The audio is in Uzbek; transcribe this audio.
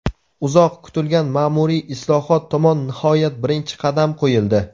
Uzoq kutilgan maʼmuriy islohot tomon nihoyat birinchi qadam qo‘yildi.